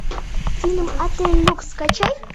фильм отель люкс скачай